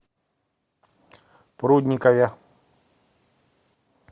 прудникове